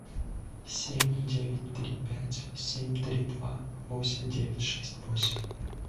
семь девять три пять семь три два восемь девять шесть восемь